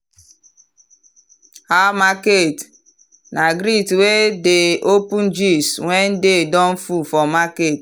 “how market?” na greet wey dey open gist when day don full for market.